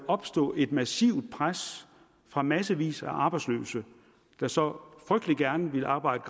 opstå et massivt pres fra massevis af arbejdsløse der så frygtelig gerne ville arbejde